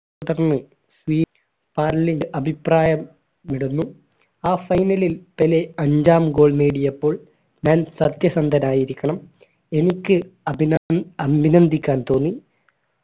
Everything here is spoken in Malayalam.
സ്വീറ്റ് പാർലൻ അഭിപ്രായം വിടുന്നു ആ final ൽ പെലെ അഞ്ചാം goal നേടിയപ്പോൾ ഞാൻ സത്യസന്ധരായിരിക്കണം എനിക്ക് അഭിന അഭിനന്ദിക്കാൻ തോന്നി